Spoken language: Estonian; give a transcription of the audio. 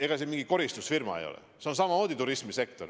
Ega see mingi koristusfirma ole, see on samamoodi turismisektor.